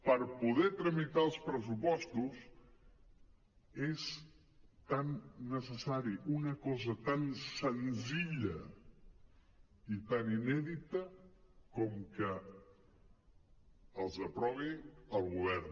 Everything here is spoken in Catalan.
per poder tramitar els pressupostos és necessària una cosa tan senzilla i tan inèdita com que els aprovi el govern